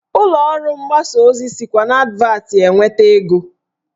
Ụlọọrụ mgbasa ozi sikwa n'advatị enweta ego